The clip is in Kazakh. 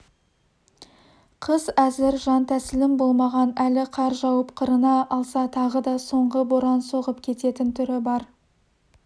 қыс әзір жантәсілім болмаған әлі қар жауып қырына алса тағы да соңғы боран соғып кететін түрі бар